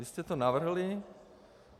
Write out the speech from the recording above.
Vy jste to navrhli.